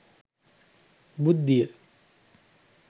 බුද්ධිය